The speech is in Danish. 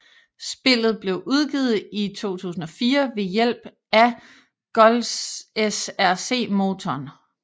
Spillet blev udgivet i 2004 ved hjælp af GoldSrc motoren